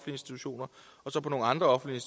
institutioner og på nogle andre offentlige